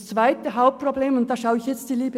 das zweite Hauptproblem richte ich mich an die SP: